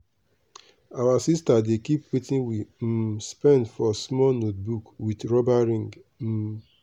our sister dey keep watin we um spend for small notebook with rubber ring. um